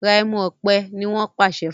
Rà ẹmu òpè! ní wón pàṣẹ fún.